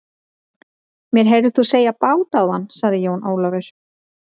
Mér heyrðist þú segja bát áðan, sagði Jón Ólafur.